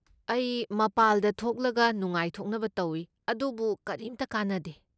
ꯑꯩ ꯃꯄꯥꯜꯗ ꯊꯣꯛꯂꯒ ꯅꯨꯡꯉꯥꯏꯊꯣꯛꯅꯕ ꯇꯧꯏ, ꯑꯗꯨꯕꯨ ꯀꯔꯤꯝꯇ ꯀꯥꯟꯅꯗꯦ꯫